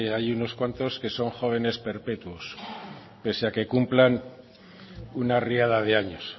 hay unos que son jóvenes perpetuos pese a que cumplan una riada de años